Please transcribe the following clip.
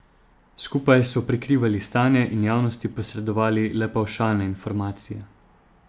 Skupaj so prikrivali stanje in javnosti posredovali le pavšalne informacije.